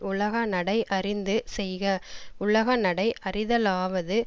உலக நடை அறிந்து செய்க உலக நடை அறிதலாவது